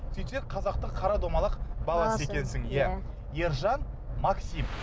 сөйтсек қазақтың қара домалақ баласы екенсің иә ержан маским